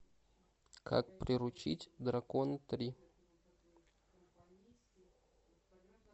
как приручить дракона три